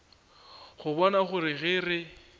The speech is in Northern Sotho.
a bona gore ge re